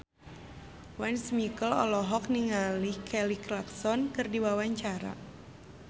Once Mekel olohok ningali Kelly Clarkson keur diwawancara